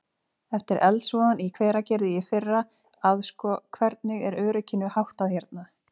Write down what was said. Eftir eldsvoðann í Hveragerði í fyrra að sko, hvernig er örygginu háttað hérna?